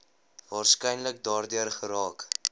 waarskynlik daardeur geraak